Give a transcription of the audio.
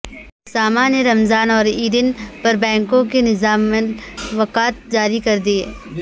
ساما نے رمضان اور عید ین پر بینکوں کے نظام الاوقات جاری کردیئے